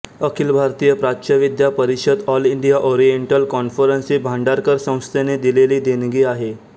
अखिल भारतीय प्राच्यविद्या परिषद ऑल इंडिया ओरिएन्टल कॉन्फरन्स ही भांडारकर संस्थेने दिलेली देणगी आहे